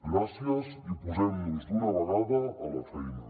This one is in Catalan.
gràcies i posem nos d’una vegada a la feina